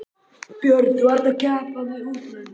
Björn: Þú ert að keppa við útlönd?